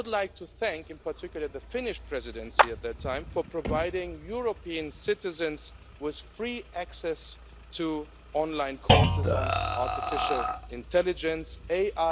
I would like to thank, in particular, the Finnish Presidency at that time for providing European citizens with free access to online courses on artificial intelligence AI